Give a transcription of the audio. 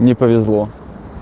не повезло